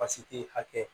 Basi te hakɛ